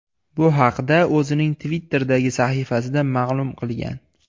Bu haqda o‘zining Twitter’dagi sahifasida ma’lum qilgan.